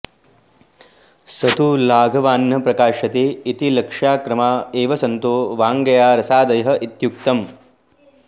स तु लाघवान्न प्रकाश्यते ॑इत्यलक्ष्यक्रमा एव सन्तो व्यङ्ग्या रसादयः॑ इत्युक्तम्